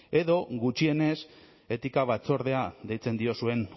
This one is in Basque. edo gutxienez etika batzordea deitzen diozuen